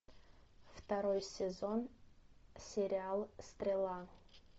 второй сезон сериал стрела